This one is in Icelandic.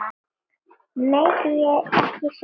Megi ekki sjá barnið.